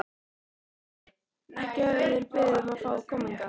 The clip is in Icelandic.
Ekki höfðu þeir beðið um að fá að koma hingað.